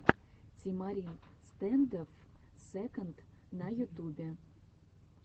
тимарин стэндофф секонд на ютубе